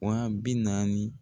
Wa bi naani